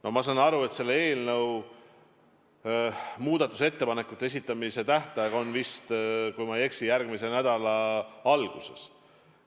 No ma saan aru, et selle eelnõu muudatusettepanekute esitamise tähtaeg on, kui ma ei eksi, järgmise nädala alguses.